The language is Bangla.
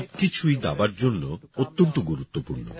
এই সব কিছুই দাবার জন্য অত্যন্ত গুরুত্বপূর্ণ